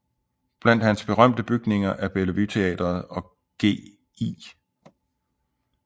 Blandt hans berømte bygninger er Bellevue Teatret og Gl